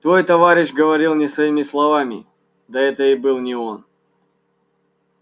твой товарищ говорил не своими словами да это и был не он